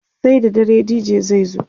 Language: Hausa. sai da dare DJ zai zo